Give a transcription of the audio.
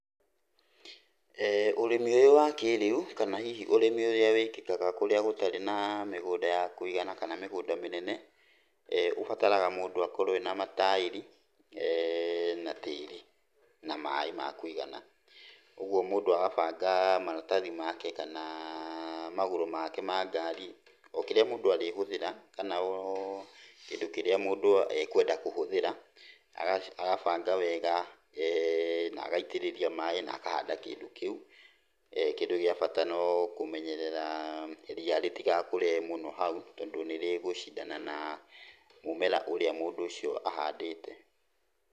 Ũrĩmi ũyũ wa kĩĩrĩu kana hihi ũrĩmi ũrĩa wĩkĩkaga kũrĩa gũtarĩ na mĩgũnda ya kũigana kana mĩgũnda mĩnene, ũbataraga mũndũ akorwo ena mataĩri na tĩri na maaĩ ma kũigana. Ũgwo mũndũ agabanga maratathi make kana magũrũ make ma ngari, o kĩrĩa mũndũ arĩhũthĩra, kana o kĩndũ kĩrĩa mũndũ ekwenda kũhũthĩra. Agabanga wega na agaitĩrĩria maaĩ na akahanda kĩndũ kĩu. Kĩndũ gĩa bata no kũmenyerera ria rĩtigakũre mũno hau tondũ nĩrĩgũcindana na mũmera ũrĩa mũndũ ũcio ahandĩte.